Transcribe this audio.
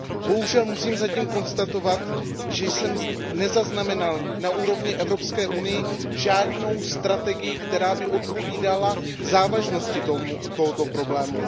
Bohužel musím zatím konstatovat, že jsem nezaznamenal na úrovni Evropské unie žádnou strategii, která by odpovídala závažnosti tohoto problému.